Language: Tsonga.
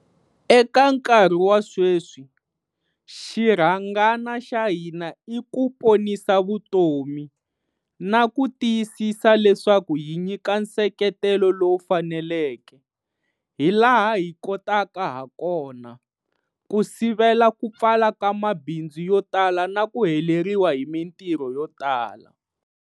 Eka nkarhi wa sweswi, xirhangana xa hina i ku ponisa vutomi, na ku tiyisisa leswaku hi nyika nseketelo lowu faneleke, hi laha hi kotaka hakona, ku sivela ku pfala ka mabindzu yo tala na ku heleriwa hi mitirho yo tala.